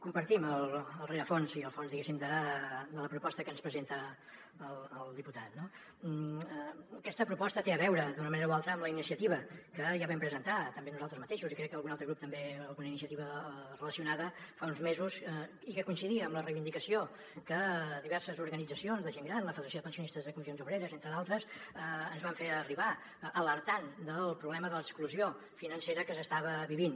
compartim el rerefons i el fons diguéssim de la proposta que ens presenta el diputat no aquesta proposta té a veure d’una manera o altra amb la iniciativa que ja vam presentar també nosaltres mateixos i crec que algun altre grup també alguna iniciativa relacionada fa uns mesos i que coincidia amb la reivindicació que diverses organitzacions de gent gran la federació de pensionis·tes de comissions obreres entre d’altres ens van fer arribar alertant del problema de l’exclusió financera que s’estava vivint